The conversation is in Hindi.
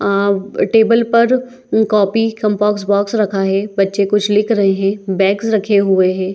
अ टेबल पर कॉपी और कॉम्पोक्स बॉक्स रखा है बच्चे कुछ लिख रहै है बैग्स रखे हुए है ।